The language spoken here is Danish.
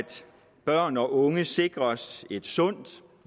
børn og unge sikres et sundt